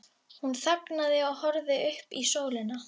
Hún þagnaði og horfði upp í sólina.